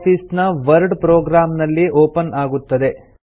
office ನ word program ನಲ್ಲಿ open ಆಗುತ್ತದೆ